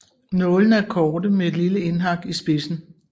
Nålene er korte med et lille indhak i spidsen